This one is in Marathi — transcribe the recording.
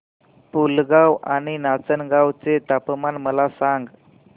पुलगांव आणि नाचनगांव चे तापमान मला सांग